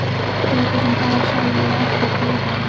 Létu sem þær sæju ekki góðgætið.